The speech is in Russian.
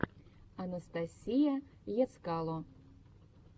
анастасия ецкало